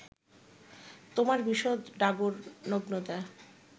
তোমার বিশদ ডাগর নগ্নতা